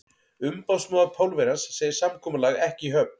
Umboðsmaður Pólverjans segir samkomulag ekki í höfn.